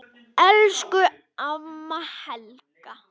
Elsku amma Helga.